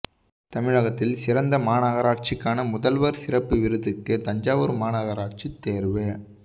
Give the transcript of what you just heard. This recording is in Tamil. தமிழகத்தில் சிறந்த மாநகராட்சிக்கான முதல்வர் சிறப்பு விருதுக்கு தஞ்சாவூர் மாநகராட்சி தேர்வு